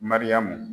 Mariyamu